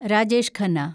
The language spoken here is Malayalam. രാജേഷ് ഖന്ന